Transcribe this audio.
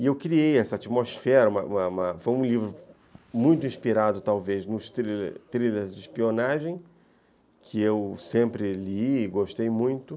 E eu criei essa atmosfera, uma uma uma ... foi um livro muito inspirado, talvez, nos thriller thriller de espionagem, que eu sempre li e gostei muito.